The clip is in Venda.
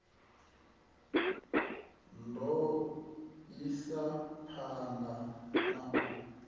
ḓo isa phanḓa na u